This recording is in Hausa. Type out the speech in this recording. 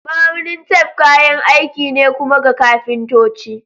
Ma'aunin tef kayan aiki ne kuma ga kafintoci.